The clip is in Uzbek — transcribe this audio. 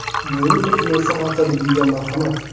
Yevropa kinosi haftaligiga marhamat.